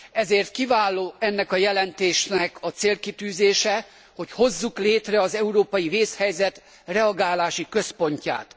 Ezért kiváló ennek a jelentésnek a célkitűzése, hogy hozzuk létre az európai vészhelyzet reagálási központot.